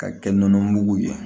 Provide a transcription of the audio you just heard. Ka kɛ nɔnɔ mugu ye